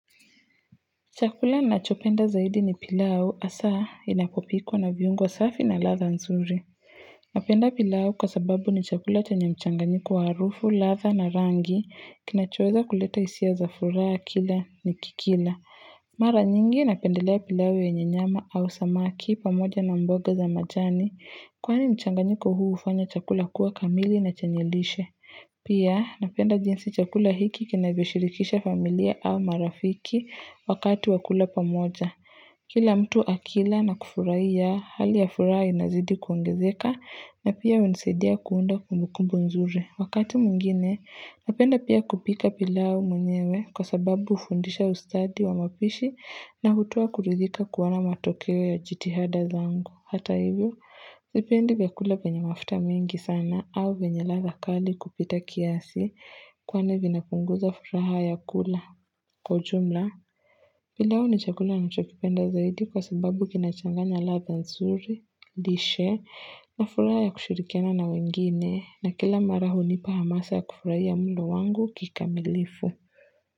Chakula nachopenda zaidi ni pilau hasaa inapopikwa na viungo safi na ladha nzuri. Napenda pilau kwa sababu ni chakula chenye mchanganyiko wa arufu, ladha na rangi, kinachoweza kuleta hisia za furaha kila nikikila. Mara nyingi napendelea pilau yenye nyama au samaki pamoja na mboga za majani, kwani mchanganyiko huu hufanya chakula kuwa kamili na chenye lishe. Pia napenda jinsi chakula hiki kinavyo shirikisha familia au marafiki wakati wa kula pamoja. Kila mtu akila na kufurahia hali ya furaha inazidi kuongezeka na pia hunisaidia kuunda kumbu kumbu nzuri. Wakati mwingine napenda pia kupika pilau mwenyewe kwa sababu hufundisha ustadi wa mapishi na hutoa kuridhika kuona matokeo ya jitihada zangu. Hata hivyo, sipendi vyakula vyenye mafuta mingi sana au vyenye ladha kali kupita kiasi kwani vinapunguza furaha ya kula. Kwa jumla, pilau ni chakula nachokipenda zaidi kwa sababu kinachanganya ladha nzuri, dishe, na furaha ya kushirikiana na wengine, na kila mara hunipa hamasa ya kufurahia mulo wangu kikamilifu.